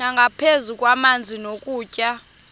nangaphezu kwamanzi nokutya